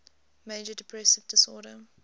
major depressive disorder